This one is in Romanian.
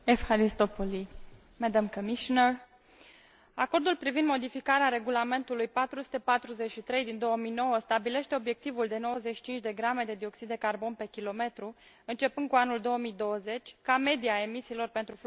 Acordul privind modificarea Regulamentului 443 din 2009 stabilește obiectivul de 95 de grame de dioxid de carbon pe km, începând cu anul 2020, ca medie a emisiilor pentru flota de autoturisme noi, înmatriculate în Uniunea Europeană.